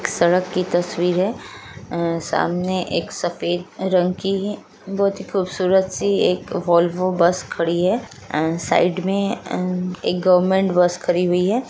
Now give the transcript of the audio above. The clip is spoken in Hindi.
सड़क की तस्वीर है ए सामने एक सफ़ेद रंग के है बहुत ही खूबसूरत सी वोलवो बस खड़ी है ए साइड में ए एक गवर्नमेंट बस खड़ी हुई है।